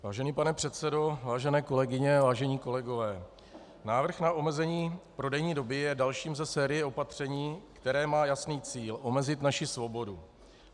Vážený pane předsedo, vážené kolegyně, vážení kolegové, návrh na omezení prodejní doby je dalším ze série opatření, které má jasný cíl - omezit naši svobodu.